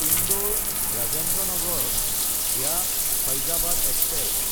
Indore-Rajendra Nagar VA Faizabad express